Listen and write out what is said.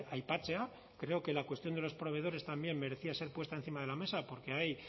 aipatzea creo que la cuestión de los proveedores también merecía ser puesta encima de la mesa porque hay